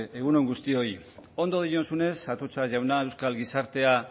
egun on guztioi ondo diozunez atutxa jauna euskal gizartea